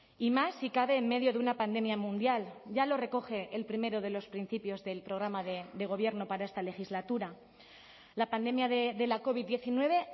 y más si cabe en medio de una pandemia mundial ya lo recoge el primero de los principios del programa de gobierno para esta legislatura la pandemia de la covid diecinueve